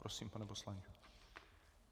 Prosím, pane poslanče.